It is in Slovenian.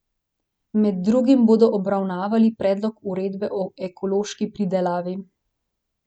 Med drugim bodo obravnavali predlog uredbe o ekološki pridelavi.